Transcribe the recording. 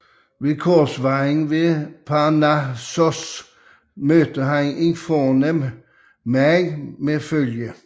Ved korsvejen ved Parnassos mødte han en fornem herre med følge